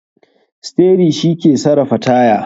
Steri shike sarafa taya.